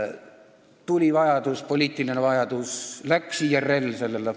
Kui tuli poliitiline vajadus, läks IRL pensionite ...